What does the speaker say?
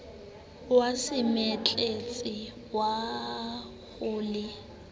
wa semetletsa wa ho le